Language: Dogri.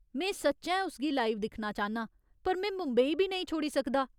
में सच्चैं उस गी लाइव दिक्खना चाह्न्नां, पर में मुंबई बी नेईं छोड़ी सकदा।